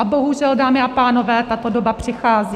A bohužel, dámy a pánové, tato doba přichází.